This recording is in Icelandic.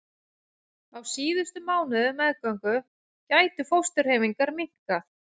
Á síðustu mánuðum meðgöngu gætu fósturhreyfingar minnkað.